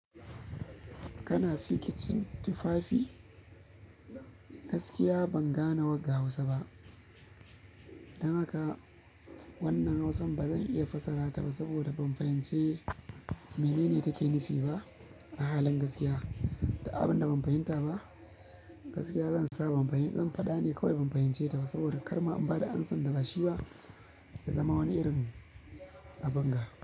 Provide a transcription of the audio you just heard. Kana fikicin tufafi? Gaskiya ban gane wagga Hausa ba, dan haka, wannan hausan bazan iya fassara ta ba saboda ban fahimce minene take nufi ba, a halin gaskiya, du abin da ban fahimta ba, gaskiya zan sa ban fahim, zan faɗa ne kawai ban fahimce ta ba saboda kar ma in ba da amsa da ba shi ba ya zama wani irin abun ga,